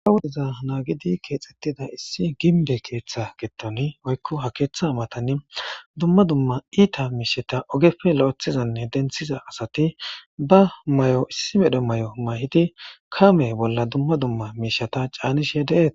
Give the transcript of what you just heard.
a wudiza naagidi keexxettida issi ginbe keetha gettoni oykko ha keeththa matani dumma dumma iita miisheta ogepfe lo7ethizanne denthiza asati ba may7o issi medho may7o may7idi kame bolla dumma dumma miishata caanishe deeet